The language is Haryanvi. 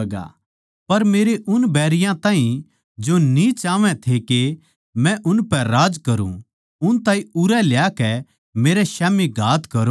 पर मेरे उन बैरियाँ ताहीं जो न्ही चाहवैं थे के मै उनपै राज करूँ उन ताहीं उरै ल्याकै मेरै स्याम्ही घात करो